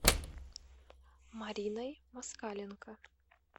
мариной москаленко